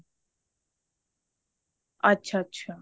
ਅੱਛਾ ਅੱਛਾ